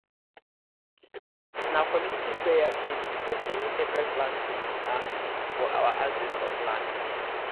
na community prayer first before any sacred planting um for our ancestors land